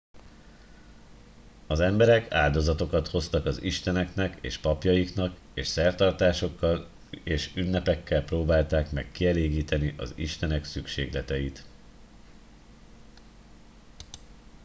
az emberek áldozatokat hoztak az isteneknek és papjaiknak és szertartásokkal és ünnepekkel próbálták meg kielégíteni az istenek szükségleteit